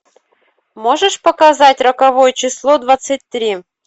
можешь показать роковое число двадцать три